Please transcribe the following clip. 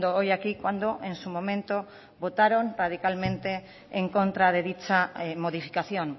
hoy aquí cuando en su momento votaron radicalmente en contra de dicha modificación